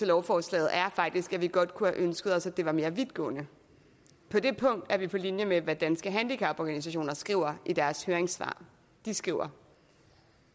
lovforslaget er faktisk at vi godt kunne have ønsket os at det var mere vidtgående på det punkt er vi på linje med hvad danske handicaporganisationer skriver i deres høringssvar de skriver